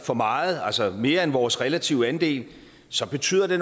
for meget altså mere end vores relative andel så betyder det